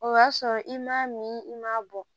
O y'a sɔrɔ i m'a min i m'a bɔ